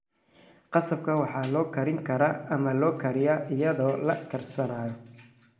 Qasabka waxaa la karin karaa ama la kariyaa iyadoo la karsanayo.